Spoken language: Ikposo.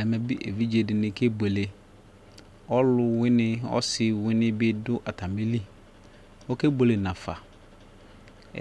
ɛmɛ evidze dɩnɩ kebuele, ɔsi ɔlʊwɩnɩ bɩ dʊ atamili, okebuele nafa,